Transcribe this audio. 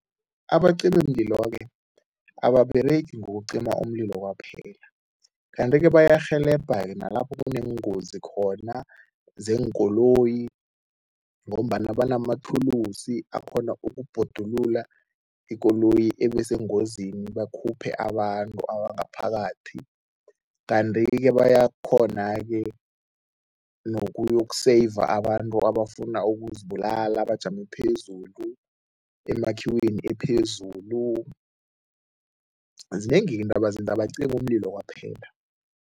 Abacimimlilo-ke ababeregi ngokucima umlilo kwaphela kanti-ke bayarhelebheka-ke nalapho kuneengozi khona zeenkoloyi ngombana banamathulusi akghona ukubhodulula ikoloyi ebesengozini, bakhuphe abantu abangaphakathi. Kanti-ke bayakghona-ke nokuyokuseyiva abantu abafuna ukuzibulala, bajame phezulu, emakhiweni ephezulu, zinengi-ke into abazenzako, abacimi umlilo kwaphela.